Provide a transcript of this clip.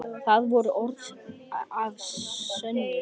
Það voru orð að sönnu.